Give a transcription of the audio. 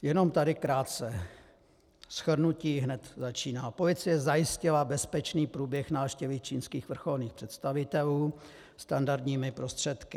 Jenom tady krátce, shrnutí hned začíná: Policie zajistila bezpečný průběh návštěvy čínských vrcholných představitelů standardními prostředky.